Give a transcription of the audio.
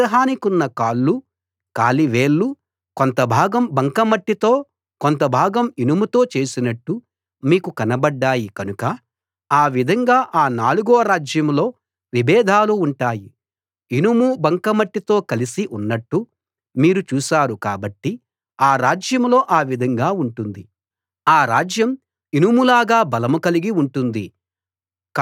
విగ్రహానికున్న కాళ్ళు కాలి వేళ్ళు కొంత భాగం బంకమట్టితో కొంత భాగం ఇనుముతో చేసినట్టు మీకు కనబడ్డాయి కనుక ఆ విధంగా ఆ నాలుగో రాజ్యంలో విభేదాలు ఉంటాయి ఇనుము బంకమట్టితో కలిసి ఉన్నట్టు మీరు చూశారు కాబట్టి ఆ రాజ్యంలో ఆ విధంగా ఉంటుంది ఆ రాజ్యం ఇనుములాగా బలం కలిగి ఉంటుంది